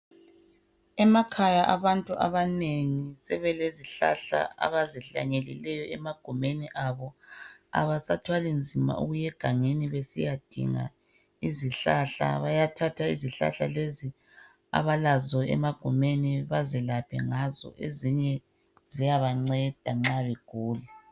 emakhaya abantu abanengi sebelezihlahla abazihlanyelileyo emagumeni abo abasathwali nzima ukuya egangeni besiyadinga izihlahla bayathatha izihlahla lezi abalazo emagumeni bazilaphe ngazo ezinye ziyabanceda nxa begula